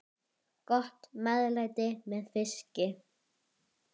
Öll erum við ólíkrar gerðar.